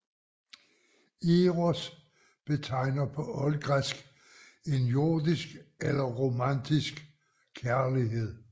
Eros betegner på oldgræsk en jordisk eller romantisk kærlighed